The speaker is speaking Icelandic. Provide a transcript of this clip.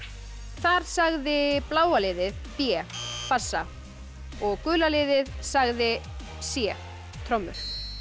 þar sagði bláa liðið b bassa og gula liðið sagði c trommur